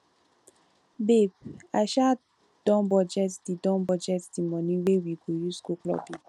babe i um don budget the don budget the money wey we go use go clubbing